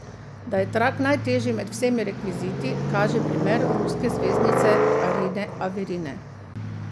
Da je trak najtežji med vsemi rekviziti, kaže primer ruske zvezdnice Arine Averine.